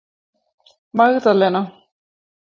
Magdalena